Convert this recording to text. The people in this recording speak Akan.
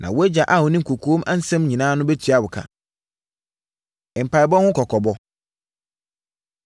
na wʼagya a ɔnim kɔkoam nsɛm nyinaa no bɛtua wo ka. Mpaeɛbɔ Ho Kɔkɔbɔ